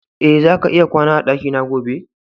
E, zaka iya kwana a dakina gobe.